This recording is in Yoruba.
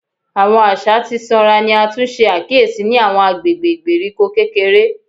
Awọn aṣa ti sanra ni a tun ṣe akiyesi ni awọn agbegbe igberiko kekere